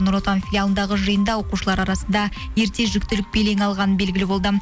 нұр отан филиалындағы жиында оқушылар арасында ерте жүктілік белең алғаны белгілі болды